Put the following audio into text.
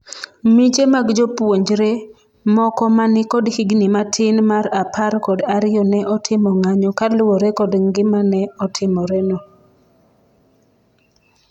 miche mag jopuonjre ,moko ma nikod higni matin mar apar kod ariyo ne otimo ng'anyo kaluwore kod gimane otimoreno,